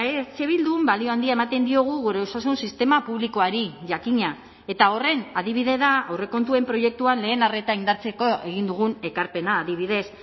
eh bildun balio handia ematen diogu gure osasun sistema publikoari jakina eta horren adibide da aurrekontuen proiektuan lehen arreta indartzeko egin dugun ekarpena adibidez